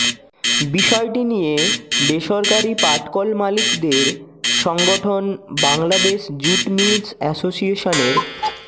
বিষয়টি নিয়ে বেসরকারি পাটকল মালিকদের সংগঠন বাংলাদেশ জুট মিলস অ্যাসোসিয়েশনের